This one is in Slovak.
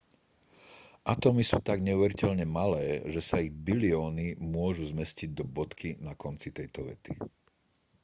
atómy sú tak neuveriteľne malé že sa ich bilióny môžu zmestiť do bodky na konci tejto vety